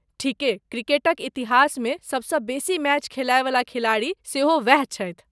ठीके, क्रिकेटक इतिहासमे सबसँ बेसी मैच खैलयवला खिलाड़ी सेहो वैह छथि।